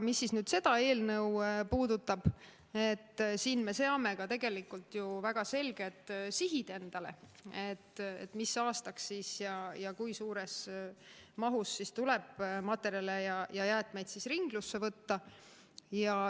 Mis nüüd seda eelnõu puudutab, siis siin me seame endale ju tegelikult väga selged sihid: mis aastaks ja kui suures mahus tuleb materjale ja jäätmeid ringlusse võtta.